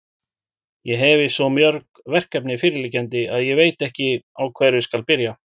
Ég hefi svo mörg verkefni fyrirliggjandi, að ég veit ekki, á hverju byrja skal.